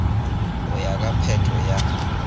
go ya ka phetho ya